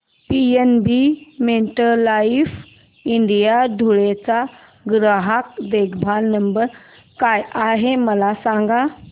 PNB MetLife India Dhule चा ग्राहक देखभाल नंबर काय आहे मला सांगा